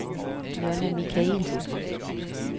Jonna Michaelsen